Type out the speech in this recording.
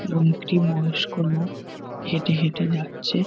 এবং একটি বয়স্ক লোক হেটে হেটে যাচ্ছে।